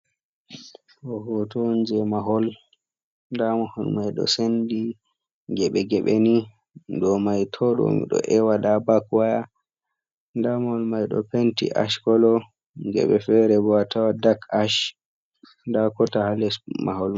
Ɗo hoto on jei mahol. Nda mahol mai ɗo sendi geɓe-geɓe ni. Ɗo mai to ɗo mi ɗo ewa. Nda bab waya, nda mahol mai ɗo penti ash kolo, geɓe fere bo a tawa dak ash, nda gota ha les mahol mai.